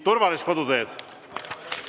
Turvalist koduteed!